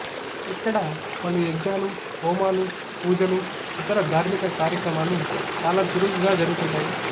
ఇక్కడ పలు యాగ్నాలు హోమాలు పూజలు ఇతర థార్మిక కార్యక్రమాలు చాలా చురుకుగా జరుగుతుంటాయి